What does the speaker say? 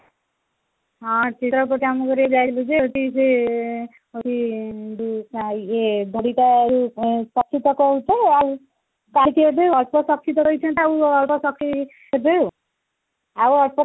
ହଁ, ସେ ଚିତ୍ରଭଟି କାମ କରିବାକୁ ଯାଇଥିଲୁ ଯେ ହଉଚି ସେ ହଉଚି ଯୋଉ ଆଉ ଇଏ ତାକୁ ତ କହୁଚ ଆଉ ଦେବେ ଆଉ ,ଆଉ ଅଳ୍ପ